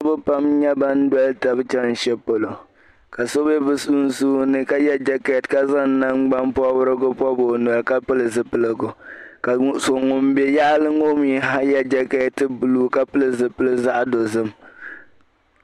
niriba pam nyɛ ban doli taba chani shɛli polo ka so be sunsuuni ka ye jɛkɛti ka zaŋ nangbampɔbirigu pɔbi o noli ka pili zipiligu ka ŋun be yaɣili ŋɔ mi ha ye jɛkɛti buluu ka pili zipil' zaɣ' dozim